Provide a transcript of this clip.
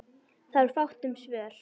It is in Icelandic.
Það var fátt um svör.